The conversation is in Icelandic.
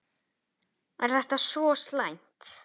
Sólveig: Er þetta svo slæmt?